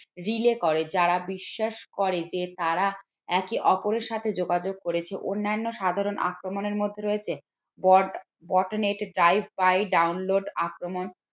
relay করে যারা বিশ্বাস করে যে তারা একে অপরের সাথে যোগাযোগ করেছে অন্যান্য সাধারণ আক্রমণের মধ্যে রয়েছে download আক্রমণ